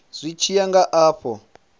zwi tshi ya nga afho